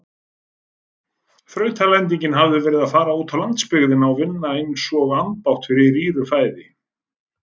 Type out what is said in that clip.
Þrautalendingin hefði verið að fara útá landsbyggðina og vinna einsog ambátt fyrir rýru fæði.